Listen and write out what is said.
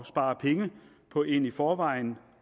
spare penge på en i forvejen